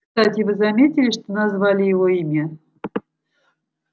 кстати вы заметили что назвали его имя